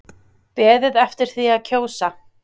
Beðið eftir því að kjósa